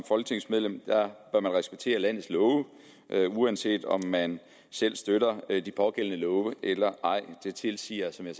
folketingsmedlem respektere landets love uanset om man selv støtter de pågældende love eller ej det tilsiger som jeg